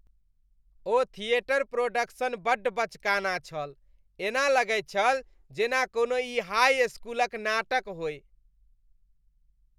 ओ theatre production बड्ड बचकाना छल । ऐना लगैत छल जेना ई कोनो हाई इसकुलक नाटक होय।